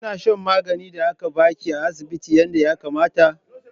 Kina shan maganin da aka ba ki a asibiti yadda ya kamata?